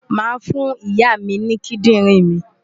Màá fún Ìyá mi ní kídìrìn mi.